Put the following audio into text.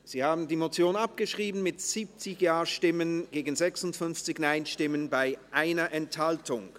Sie haben die Motion abgeschrieben, mit 70 Ja- gegen 56 Nein-Stimmen bei 1 Enthaltung.